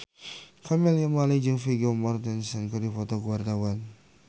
Camelia Malik jeung Vigo Mortensen keur dipoto ku wartawan